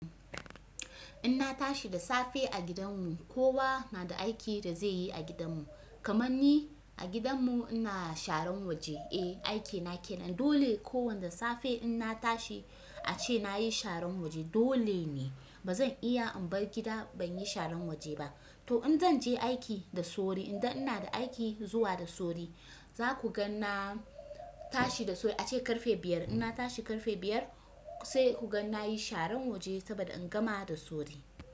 In na tashi da safe a gidan mu kowa na da aiki da zeyi a gidan mu. Kaman ni a gidan mu ina sharan waje eh aikina kenan. Dole kowan da safe in na tashi ace nayi sharan waje dole ne. Ba zan iya in bar gida ban yi sharan waje ba. To in zan je aiki da sauri idan ina da aiki zuwa da sauri za ku gan na tashi da sauri ace karfe biyar. In na tashi karfe biyar sai ku gan na yi sharan waje saboda in gama da sauri.